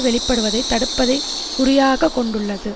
வெளிப்படுவதை தடுப்பதை குறியாகக் கொண்டுள்ளது